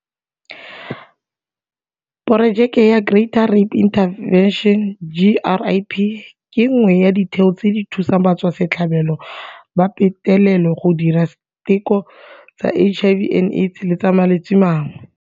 Porojeke ya Greater Rape Intervention GRIP ke nngwe ya ditheo tse di thusang batswasetlhabelo ba petelelo go dira diteko tsa HIV and Aids le tsa malwetse mangwe.